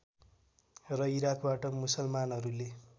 र इराकबाट मुसलमानहरूले